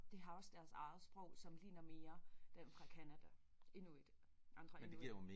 De har også deres eget sprog som ligner mere dem fra Canada inuit andre inuit